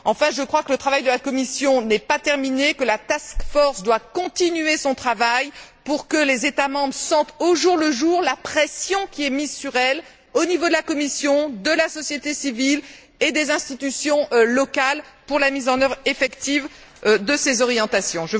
Enfin, je crois que le travail de la Commission n'est pas terminé, que la task force doit continuer son travail pour que les États membres sentent au jour le jour la pression qui est mise sur elle, au niveau de la Commission, de la société civile et des institutions locales, pour la mise en œuvre effective de ces orientations.